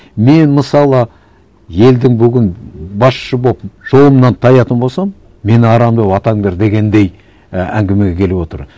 мен мысалы елдің бүгін басшысы болып жолымнан таятын болсам мені арам деп атаңдар дегендей і әңгімеге келіп отыр